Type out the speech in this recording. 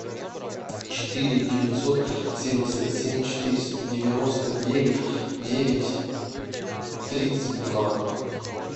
четыре девятьсот семьдесят семь четыреста девяносто девять девять тридцать два